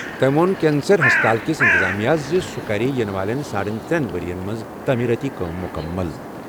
تٔمۍ ووٚن کینسر ہسپتالٕک انتظامیہس زِ سُہ کرِ یِنہٕ وٲلۍ ساڑن ؤرۍ یَن منٛز تعمیٖرٲتی کٲم مُکمل۔